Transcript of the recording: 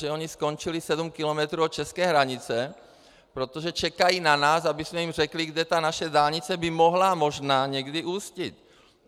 Že oni skončili sedm kilometrů od české hranice, protože čekají na nás, abychom jim řekli, kde ta naše dálnice by mohla možná někdy ústit.